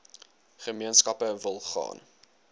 gemeenskappe wil gaan